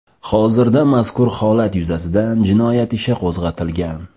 Hozirda mazkur holat yuzasidan jinoyat ishi qo‘zg‘atilgan.